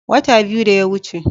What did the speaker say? Wata biyu da yawuce.